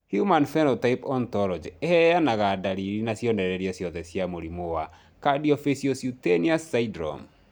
Human Phenotype Ontology ĩheanaga ndariri na cionereria ciothe cia mũrimũ wa Cardiofaciocutaneous syndrome.